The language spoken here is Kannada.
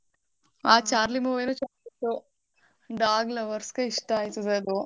ಆ charlie movie ನು ಚೆನ್ನಾಗಿತ್ತು. Dog lovers ಗೆ ಇಷ್ಟ ಆಯ್ತದೆ ಅದು.